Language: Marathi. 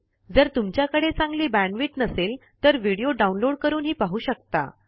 जर तुमच्याकडे चांगली बॅण्डविड्थ नसेल तर व्हिडिओ downloadपाहू शकता